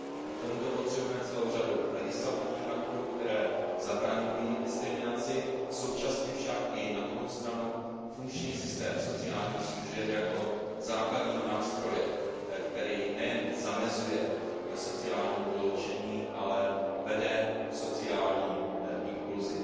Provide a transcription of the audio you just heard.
K tomuto potřebujeme celou řadu legislativních aktů, které zabraňují diskriminaci, současně však i na druhou stranu funkční systém sociálních služeb jako základního nástroje, který nejen zamezuje sociálnímu vyloučení, ale vede k sociální inkluzi.